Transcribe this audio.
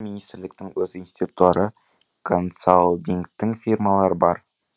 министрліктің өз институттары консалтингтік фирмалары бар